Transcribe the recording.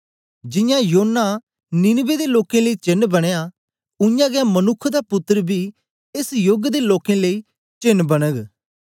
जियां योना नीनवे दे लोकें लेई चेन्न बनयां उयांगै मनुक्ख दा पुत्तर बी एस योग दे लोकें लेई चेन्न बनग